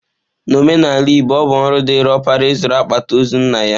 N'omenala Igbo, ọ bụ ọrụ dịịrị ọkpara ịzụrụ akpati ozu nna ya.